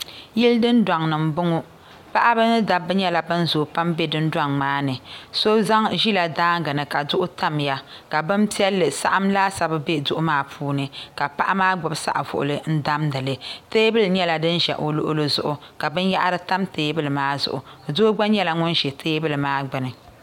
Yili dun doŋni n boŋo. Paɣaba ni dabba nyela ban zoo pam n be dundoŋ maa ni. So ʒi la daangi ni ka duɣu Tamya ka bin pielli saɣim laasabu be duɣu maa puuni ka paɣi maa gbubi saɣi vuɣili n damdili. Teebuli nyela din ʒɛ o luɣili zuɣu ka binyehiri tam teebuli maa zuɣu. Doo gba nyela ŋun ʒɛ teebuli maa gbuni